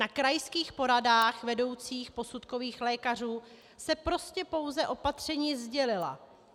Na krajských poradách vedoucích posudkových lékařů se prostě pouze opatření sdělila.